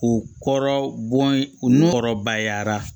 U kɔrɔ bɔn u nu kɔrɔbayara